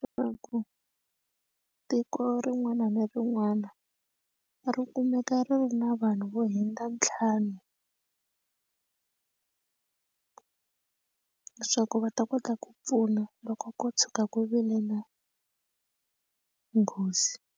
Leswaku tiko rin'wana na rin'wana ri kumeka ri ri na vanhu vo hundza ntlhanu leswaku va ta kota ku pfuna loko ko tshuka ku vilela nghozi.